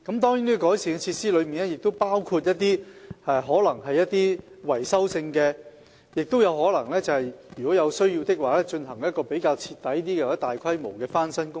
在改善設施方面，亦包括一些維修工作；如有需要，我們亦可能進行比較徹底或大規模的翻新工程。